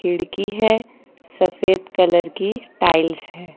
खिड़की है सफेद कलर की टाइल्स है।